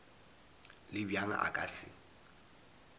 le bjang a ka se